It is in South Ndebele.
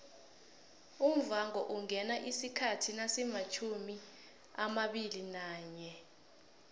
umvhangoungena isikhathi nasimatjhumiamabili nanye